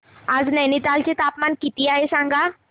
आज नैनीताल चे तापमान किती आहे सांगा